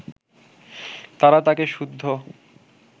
তারা তাঁকে সুদ্ধ